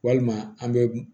Walima an bɛ